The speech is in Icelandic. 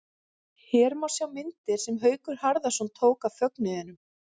Hér má sjá myndir sem Haukur Harðarson tók af fögnuðinum.